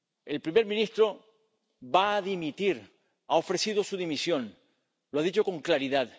El primer ministro va a dimitir, ha ofrecido su dimisión, lo ha dicho con claridad